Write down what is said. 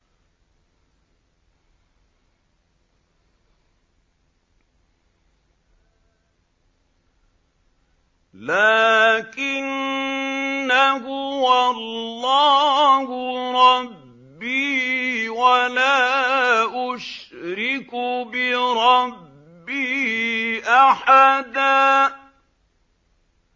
لَّٰكِنَّا هُوَ اللَّهُ رَبِّي وَلَا أُشْرِكُ بِرَبِّي أَحَدًا